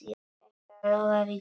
Þetta lofaði góðu.